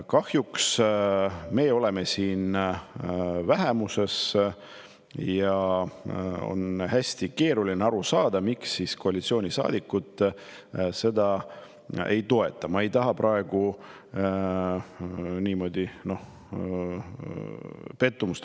Kahjuks oleme meie siin vähemuses ja on hästi keeruline aru saada, miks koalitsioonisaadikud ei toeta.